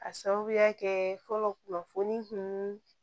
A sababuya kɛ fɔlɔ kunnafoni kun